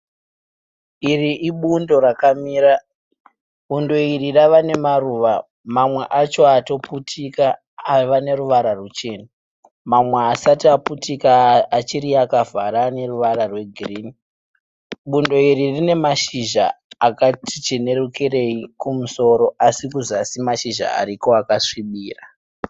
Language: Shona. Iri ibundo rakamira. Bundo iri rava nemaruva, mamwe acho atoputika ava neruvara ruchena. Mamwe haasati aputika achiri akavhara anoruvara rwegirini. Bundo iri rine mashizha akati chenerukireyi kumusoro asi kuzasi mashizha ariko akasvibira.